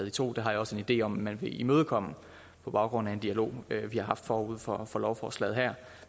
i to det har jeg også en idé om man vil imødekomme på baggrund af en dialog vi har haft forud for for lovforslaget her